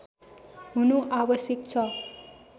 हुनु आवश्यक छ